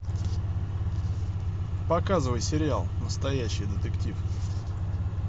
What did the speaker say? показывай сериал настоящий детектив